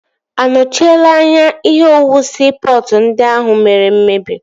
A nochiela anya ihe owuwu siipọtụ ndị ahụ mere mmebi?